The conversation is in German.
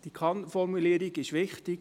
Die KannFormulierung ist wichtig.